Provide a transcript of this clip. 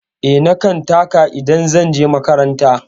Eh, na kan taka idan zan je makaranta.